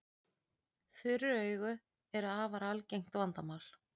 Þurr augu eru afar algengt vandamál.